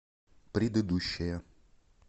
предыдущая